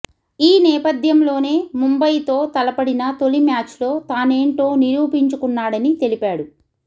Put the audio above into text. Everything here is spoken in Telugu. ఈ నేపథ్యంలోనే ముంబయితో తలపడిన తొలి మ్యాచ్లో తానేంటో నిరూపించుకున్నాడని తెలిపాడు